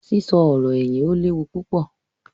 sísọ ọ̀rọ̀-ẹ̀yìn ó lé wu púpọ̀.